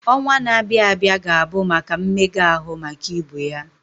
Ọnwa na-abịa abịa ga-abụ maka mmega ahụ maka ibu ya